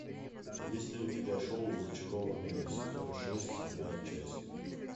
есть ли у тебя шоу зачарованные сезон шесть седьмая часть